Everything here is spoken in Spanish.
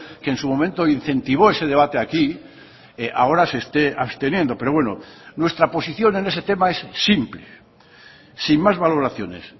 que en su momento incentivó ese debate aquí ahora se esté absteniendo pero bueno nuestra posición en ese tema es simple sin más valoraciones